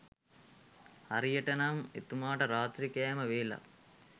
හරියට නම් එතුමාට රාත්‍රී කෑම වේලක්